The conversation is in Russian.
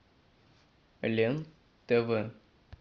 лен тв